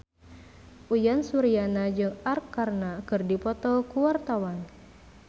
Uyan Suryana jeung Arkarna keur dipoto ku wartawan